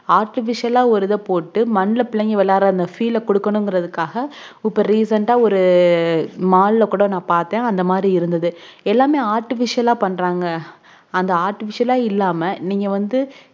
artificial ஆ ஒரு இத போட்டு மண்ணுல விளையாடனும் அபுடின்குற feel அஹ் குடுக்கணும்ங்கருதுக்காக உப்ப recent ஆ mall ஆகூட நான் பாத்தேன் அந்த மாதிரி இருந்தது எல்லாமே artaificial ஆ பண்றாங்க artificial ஆ இல்லாம நீங்க வந்து